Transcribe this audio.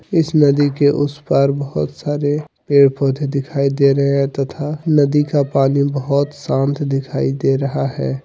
इस नदी के उस पार बहुत सारे पेड़ पौधे दिखाई दे रहे हैं तथा नदी का पानी बहुत शांत दिखाई दे रहा है।